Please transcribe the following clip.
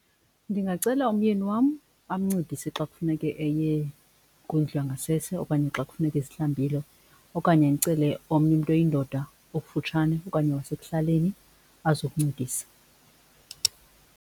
Ndingacela umyeni wam amncedise xa kufuneke eye kwindlu yangasese okanye xa kufuneke ezihlambile okanye ndicele omnye umntu oyindoda okufutshane okanye wasekuhlaleni azokuncedisa.